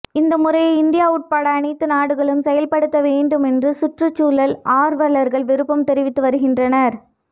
இந்த முறையை இந்தியா உட்பட அனைத்து நாடுகளும் செயல்படுத்த வேண்டும் என்று சுற்றுச்சூழல் ஆர்வலர்கள் விருப்பம் தெரிவித்து வருகின்றனர்